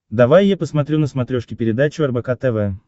давай я посмотрю на смотрешке передачу рбк тв